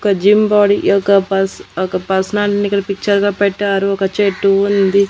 ఒక gym body యొక్క పస్ ఒక పర్సనాలిటీని ఇక్కడ పిక్చర్ గా పెట్టారు చెట్టు ఉంది.